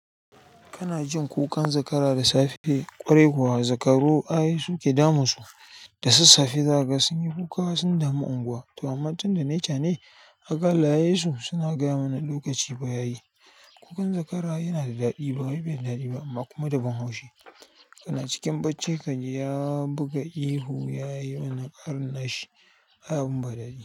Kana jin kukan zakara da safe, kwarai kuwa zakaro ayi su ke damun su da sas safe zaga sun yi kuka sun damu unguwa. To amma tunda nai cha nai haka Allah ya yisu suna gaya mana lokaci fa ya yi. Ƙukan zakara yana da daɗi bawai bai da daɗi ba amma kuma da ban haushi kana cikin bacci kaji ya buga ihu yayi wannan karar nashi ai abun ba daɗi.